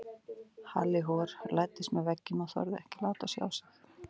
Halli hor læddist með veggjum og þorði ekki að láta sjá sig.